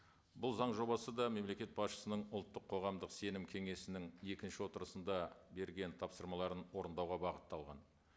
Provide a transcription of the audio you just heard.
бұл заң жобасы да мемлекет басшысының ұлттық қоғамдық сенім кеңесінің екінші отырысында берген тапсырмаларын орындауға бағытталған